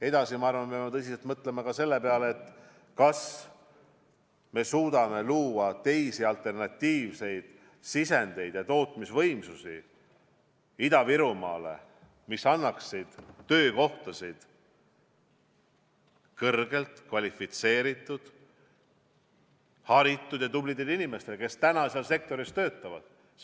Edasi, ma arvan, et me peame tõsiselt mõtlema ka selle peale, kas me suudame Ida-Virumaal luua teisi, alternatiivseid sisendeid ja tootmisvõimsusi, mis annaksid töökohtasid kõrgelt kvalifitseeritud, haritud ja tublidele inimestele, kes praegu seal sektoris töötavad.